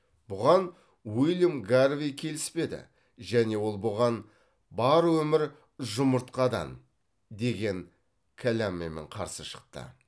бұған уильям гарвей келіспеді және ол бұған бар өмір жұмыртқадан деген кәламмімен қарсы шықты